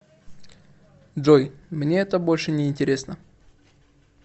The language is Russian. джой мне это больше не интересно